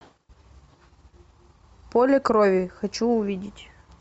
поле крови хочу увидеть